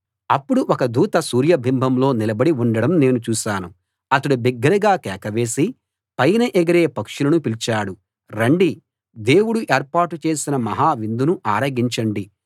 అప్పుడు ఒక దూత సూర్యబింబంలో నిలబడి ఉండడం నేను చూశాను అతడు బిగ్గరగా కేక వేసి పైన ఎగిరే పక్షులను పిలిచాడు రండి దేవుడు ఏర్పాటు చేసిన మహా విందును ఆరగించండి